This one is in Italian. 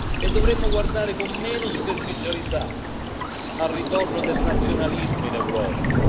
E dovremmo guardare con meno superficialità al ritorno del nazionalismo in Europa.